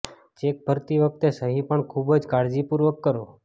check ભરતી વખતે સહી પણ ખુબજ કાળજી પૂર્વક કરો